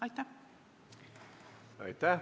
Aitäh!